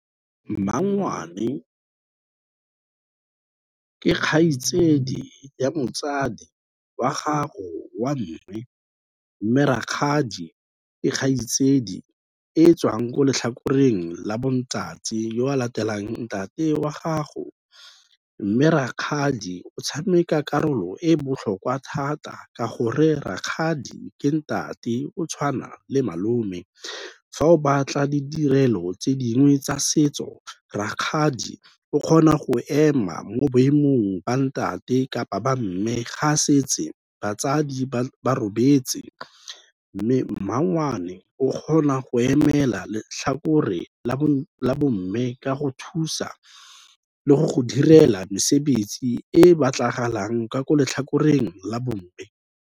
Mmangwane ke kgaitsedi ya motsadi wa gago wa mme, mme rakgadi ke kgaitsadi e e tswang ko letlhakoreng la bo ntate o a latelang ntate wa gago. Mme rakgadi o tshameka karolo e botlhokwa thata ka gore rakgadi ke ntate o tshwana le malome. Fa o batla didirelo tse dingwe tsa setso, rakgadi o kgona go ema mo boemong ba ntate kapa ba mme ga setse batsadi ba robetse, mme mmangwane o kgona go emela letlhakore la bo mme, ka go thusa le go go direla mesebetsi e batlagalang ka ko letlhakoreng la bomme.